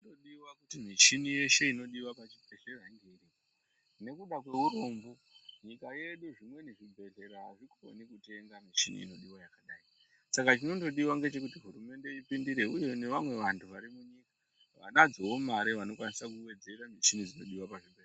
Zvinodiwa kuti michini yeshe inodiwa pachibhedhlera inge iripo nekuda kweurombo munyika yedu zvimweni zvibhedhlera azvikoni kutenga michini inodiwa yakadai saka chinondodiwa ngechekuti hurumende ipindire uye nevamwe vanhu vari munyika vanadzowo mare vanokwanisa kuwedzera michini inodiwa pazvibhedhlera.